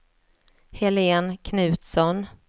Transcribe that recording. Helen Knutsson